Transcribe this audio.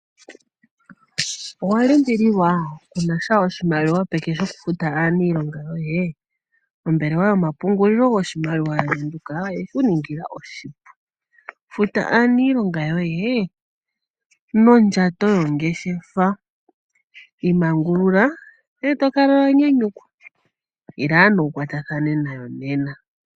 Owa limbililwa? Ku na sha oshimaliwa peke shokufuta aaniilonga yoye? Ombelewa yoyomapungulilo goshimaliwa yaBank Windhoek oye ku ningila oshipu. Futa aaniilonga yoye nondjato yongeshefa. Imangulula ndele to kala wa nyanyukwa. Ila ano wu kwatathane nayo nena.